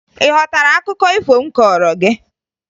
Ị ghọtara akụkọ ifo m kọọrọ gị?